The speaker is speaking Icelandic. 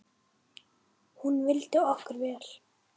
Hún vildi okkur vel.